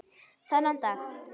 Þennan dag.